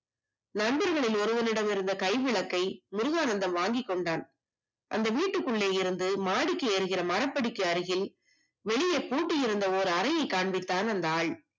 நண்பன் ஒருவனிடம் இருந்த கை விளக்கை முருகானந்தம் வாங்கிக் கொண்டான் அந்த வீட்டுக்குள்ளே இருந்து மாடிக்கு போகிற மரப்படிக்கடியில் வெளியே பூட்டி இருந்த அறையை காண்பித்தான் அந்த ஆள்